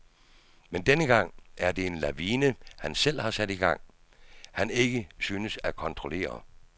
Men denne gang er det en lavine, han selv har sat i gang, han ikke synes at kontrollere.